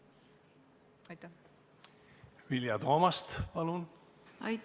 Vilja Toomast, palun!